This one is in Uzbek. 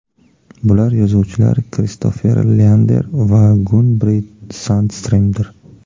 Bular yozuvchilar Kristoffer Leander va Gun-Britt Sundstremdir.